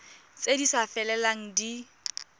tse di sa felelang di